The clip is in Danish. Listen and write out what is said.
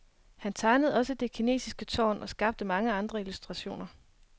Han tegnede også det kinesiske tårn og skabte mange andre illustrationer.